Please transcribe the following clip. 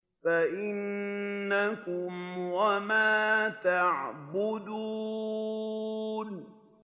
فَإِنَّكُمْ وَمَا تَعْبُدُونَ